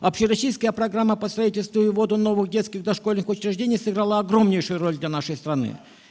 общероссийская программа по строительству и вводу новых детских дошкольных учреждений сыграла огромнейшую роль для нашей страны